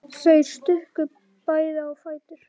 Þau stukku bæði á fætur.